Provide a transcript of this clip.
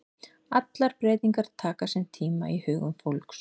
Allar breytingar taka sinn tíma í hugum fólks.